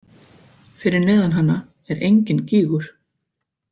Fyrir neðan hana er enginn gígur.